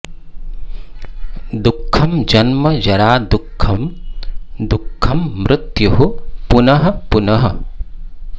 दुःखं जन्म जरा दुःखं दुःखं मृत्युः पुनः पुनः